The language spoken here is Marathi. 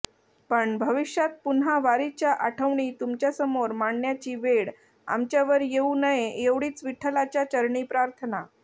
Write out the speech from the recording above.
पण भविष्यात पुन्हा वारीच्या आठवणी तुमच्यासमोर मांडण्याची वेळ आमच्यावर येऊ नये एवढीच विठ्ठलाच्या चरणी प्रार्थना